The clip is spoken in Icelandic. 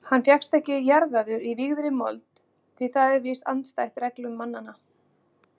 Hann fékkst ekki jarðaður í vígðri mold því það er víst andstætt reglum mannanna.